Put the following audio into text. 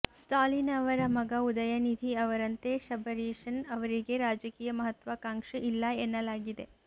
ಸ್ಟಾಲಿನ್ ಅವರ ಮಗ ಉದಯನಿಧಿ ಅವರಂತೆ ಶಬರೀಶನ್ ಅವರಿಗೆ ರಾಜಕೀಯ ಮಹತ್ವಾಕಾಂಕ್ಷೆ ಇಲ್ಲ ಎನ್ನಲಾಗಿದೆ